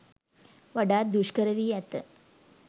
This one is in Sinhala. වඩාත් දුෂ්කර වී ඇත.